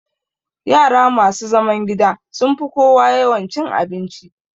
Yara masu zaman gida sun fi kowa yawan cin abinci